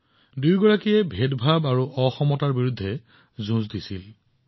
এই দুয়োজন মহাপুৰুষে বৈষম্য আৰু অসমতাৰ বিৰুদ্ধে এক ডাঙৰ যুঁজত অৱতীৰ্ণ হৈছিল